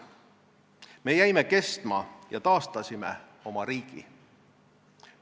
Me jäime kestma ja taastasime oma riigi.